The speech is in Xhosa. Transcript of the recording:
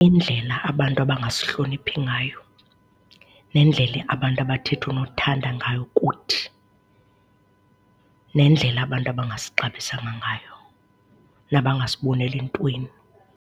Indlela abantu abangasihloniphi ngayo nendlela abantu abathetha unothanda ngayo kuthi, nendlela abantu abangasixabisanga ngayo nabangasiboneli ntweni.